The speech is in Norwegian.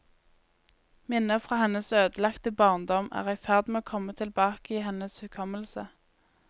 Minner fra hennes ødelagte barndom er i ferd med å komme tilbake i hennes hukommelse.